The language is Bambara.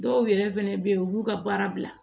Dɔw yɛrɛ fɛnɛ bɛ ye u b'u ka baara bila